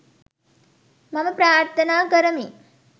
මම ප්‍රාර්ථනා කරමි.